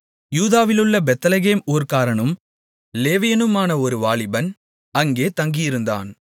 யூதாவிலுள்ள Bethlehem ஊர்க்காரனும் லேவியனுமான ஒரு வாலிபன் அங்கே தங்கியிருந்தான்